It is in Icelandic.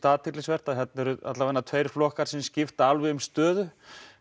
athyglisvert að þarna eru allavega tveir flokkar sem skipta alveg um stöðu